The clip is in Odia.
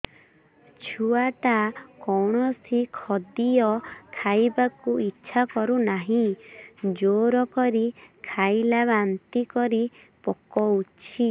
ଛୁଆ ଟା କୌଣସି ଖଦୀୟ ଖାଇବାକୁ ଈଛା କରୁନାହିଁ ଜୋର କରି ଖାଇଲା ବାନ୍ତି କରି ପକଉଛି